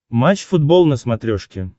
матч футбол на смотрешке